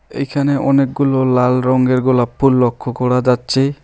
এইখানে অনেকগুলো লাল রঙ্গের গোলাপ ফুল লক্ষ্য করা যাচ্ছে।